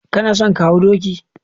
Kana son ka hau doki?